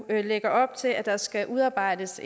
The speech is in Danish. lægger op til at der skal udarbejdes